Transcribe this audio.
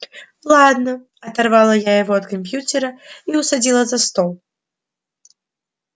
ладно оторвала я его от компьютера и усадила за стол